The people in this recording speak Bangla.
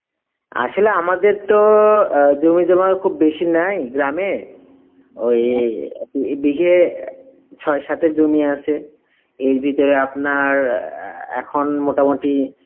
আসলে আমাদের তো জমি জমা খুব বেসি নাই গ্রাম এ, বিঘে চয়ে সাতেক জমি আছে এর ভিতরে আপনার আ এখন মোটামুটি